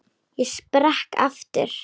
Ég sprakk aftur.